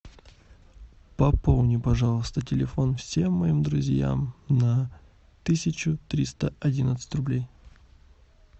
пополни пожалуйста телефон всем моим друзьям на тысячу триста одиннадцать рублей